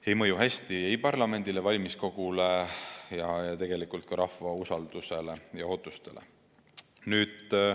See ei mõju hästi ei parlamendile, valimiskogule ega tegelikult ka rahva usaldusele ja ootustele.